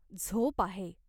झोप आहे.